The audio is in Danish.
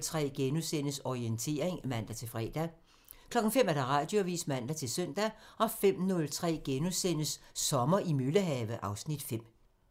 03:03: Orientering *(man-fre) 05:00: Radioavisen (man-søn) 05:03: Sommer i Møllehave (Afs. 5)*